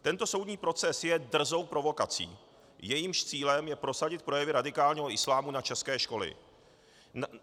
Tento soudní proces je drzou provokací, jejímž cílem je prosadit projevy radikálního islámu na české školy.